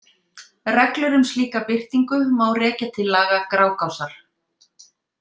Reglur um slíka birtingu má rekja til laga Grágásar.